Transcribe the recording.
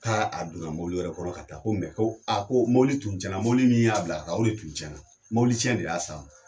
K'a a donna mobili wɛrɛ kɔnɔ ka taa. Ko ko ko mobili tun tiɲɛna, mobili min y'a bila ka taa, o de tun tiɲɛna. Mobili tiɲɛ de y'a s'a ma.